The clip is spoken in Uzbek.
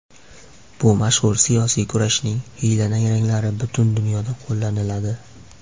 Bu mashhur... siyosiy kurashning xiyla-nayranglari butun dunyoda qo‘llaniladi.